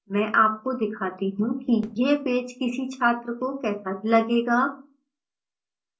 मैं आपको दिखाती हूं कि यह पेज किसी छात्र को कैसा लगेगा